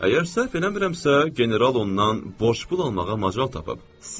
Əgər səhv eləmirəmsə, general ondan borc pul almağa macal tapıb.